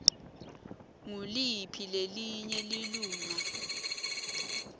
nguliphi lelinye lilunga